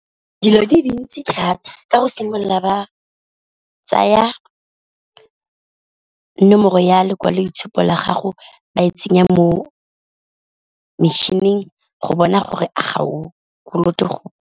Dilo di dintsi thata ka go simolola ba tsaya nomoro ya lekwaloitshupo la gago ba e tsenya mo metšhining go bona gore ga o kolote gope.